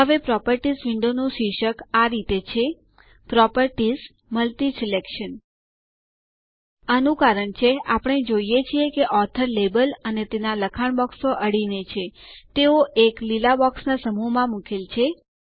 હવે properties window નું શીર્ષક આ રીતે છે PropertiesMultiSelection આનું કારણ છે આપણે જોઈએ છીએ કે ઓથોર લેબલ અને તેના લખાણ બોક્સો અડીને છે તેઓ એક લીલા બોક્સના સમૂહ માં મુકેલ છે